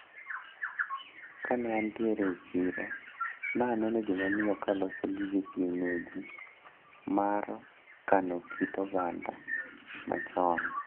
Kane antiere e chiro naneno jomamiyo kaloso gige kienyeji mar kano kit oganda machon.